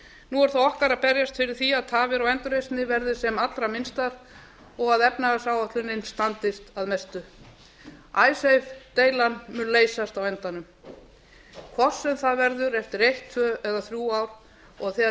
nú er það okkar að berjast fyrir því að tafir á endurreisninni verði sem allra minnstar og að efnahagsáætlunin standist að mestu icesave deilan mun leysast á endanum hvort sem það verður eftir eitt tvö eða þrjú ár og þegar